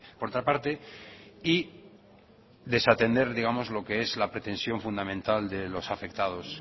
por otra parte y desatender lo que es la pretensión fundamental de los afectados